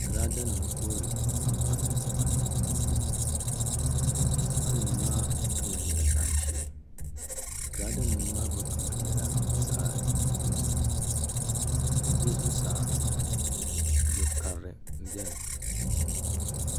Girada nim n toori tankpaɣu niŋdi tipa nim puuni tipa nim ma'am kama nyɛla zaɣ ʒiɛ giraada nim maa gba kama nyɛla zaɣ dozim bi zuɣusaa zo karili n biɛni